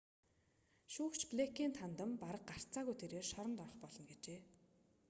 шүүгч блэйкэнд хандан бараг гарцааргүй тэрээр шоронд орох болно гэжээ